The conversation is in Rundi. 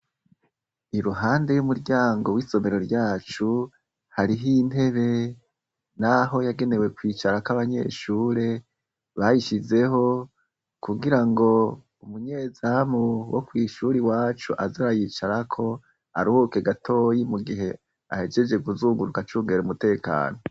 Iruhande y'umuryango w'isomero ryacu hariho intebe, naho yagenewe kwicarako abanyeshure bayishizeho kugira ngo umunyezamu wo kw'ishure iwacu aze arayicarako aruhuke gatoyi mu gihe ahejeje kuzunguruka acungera umutekano.